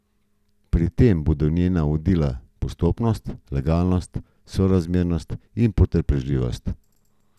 Pri tem bodo njena vodila postopnost, legalnost, sorazmernost in potrpežljivost.